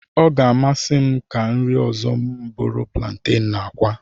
Ọ ga-amasị m ka nri ọzọ m bụrụ plantenu na akwa.